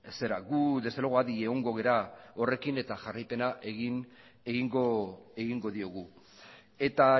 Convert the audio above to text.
gu desde luego adi egongo gara horrekin eta jarraipena egingo diogu eta